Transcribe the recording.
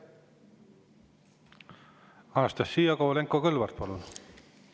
Anastassia Kovalenko-Kõlvart, palun!